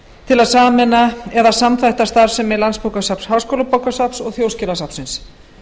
til að sameina eða samþætta starfsemi landsbókasafns háskólabókasafns og þjóðskjalasafnsins